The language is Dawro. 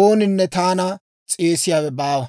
ooninne taana s'eesiyaawe baawa.